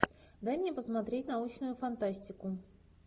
дай мне посмотреть научную фантастику